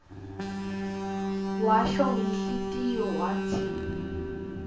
washo ngenhlitiyo watsi